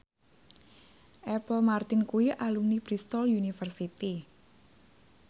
Apple Martin kuwi alumni Bristol university